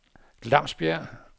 Glamsbjerg